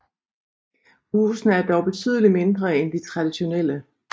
Husene er dog betydelig mindre end de traditionelle